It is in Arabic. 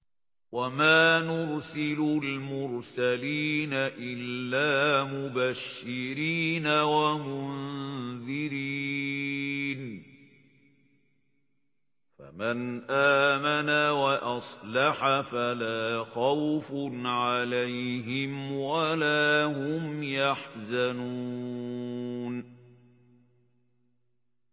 وَمَا نُرْسِلُ الْمُرْسَلِينَ إِلَّا مُبَشِّرِينَ وَمُنذِرِينَ ۖ فَمَنْ آمَنَ وَأَصْلَحَ فَلَا خَوْفٌ عَلَيْهِمْ وَلَا هُمْ يَحْزَنُونَ